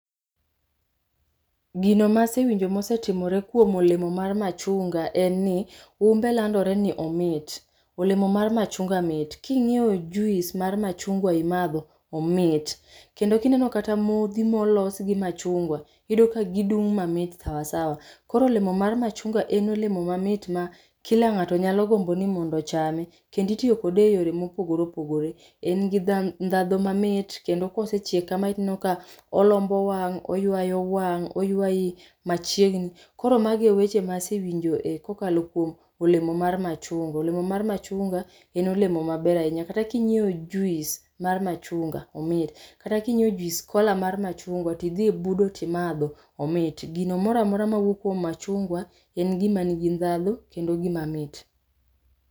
Gino masewinjo mosetimore kuom olemo mar machunga en ni, umbe landore ni omit. Olemo mar machunga mit. King'iyo jus mar machunga imadho, omit. Kendo kineno kata modhi molos gi machunga, iyudo ka gidung' mamit sawasawa. Koro olemo mar machunga en olemo mamit ma kila ng'ato nyalo gombo ni mondo ochame kendo itiyo kode e yore mopogore opogore. En gi ndadhu mamit, kendo kosechiek kamae tineno ka olombo wang', oywayo wang', oywayi machiegni. Koro magi e weche masewinjo kokalo kuom olemo mar machunga. Olemo mar machunga en olemo maber ahinya. Kata kinyiewo jus mar machunga, omit. Kata kinyiewo jus kola mar machunga, tidhi ibudo timadho, omit. Gino moramora mawuok kuom machungwa en gima nigi ndadhu kendo gima mit.